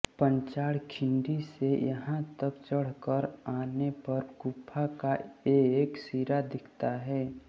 पाचाड खिंडी से यहॉ तक चढ़कर आनेपर गुफा का एक सिरा दिखता है